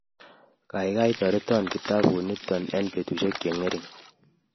kaikai toreto kitabut nitok eng betushek che ngering